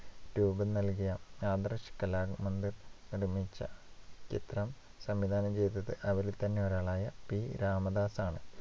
രൂപം നൽകിയ ആദർശ് കലാമന്ദിർ നിർമ്മിച്ച ചിത്രം സംവിധാനം ചെയ്തത് അവരിൽതന്നെയൊരാളായ പി. രാമദാസാണ്.